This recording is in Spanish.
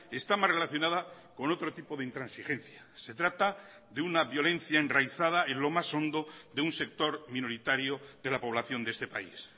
está mas relacionada con otro tipo de intransigencia se trata de una violencia enraizada en lo más hondo de un sector minoritario de la población de este país